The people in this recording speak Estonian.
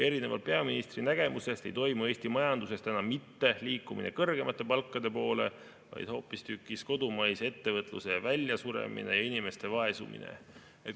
Erinevalt peaministri nägemusest ei toimu Eesti majanduses täna mitte liikumine kõrgemate palkade poole, vaid hoopistükkis kodumaise ettevõtluse väljasuremine ja inimeste vaesumine.